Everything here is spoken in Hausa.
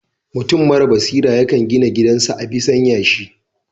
Mutum mara hikima yakan gina gidan sa a bisan yashi